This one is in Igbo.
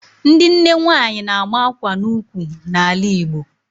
Ndị nne nwaanyị na-ama akwa n'ukwu n'ala Igbo